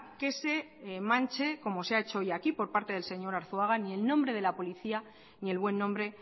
que se manche como se ha hecho hoy aquí por parte del señor arzuaga ni el nombre de la policía ni el buen nombre